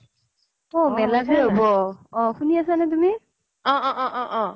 অ শুনি আছা নে তুমি